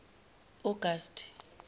augusti